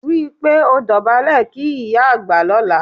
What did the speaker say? Rí i pé ò dọ̀bálẹ̀ kí ìyá àgbà lọ́la